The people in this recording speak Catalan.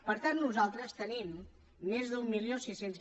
per tant nosaltres tenim més d’mil sis cents